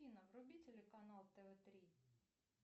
афина вруби телеканал тв три